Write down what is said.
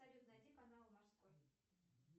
салют найди канал морской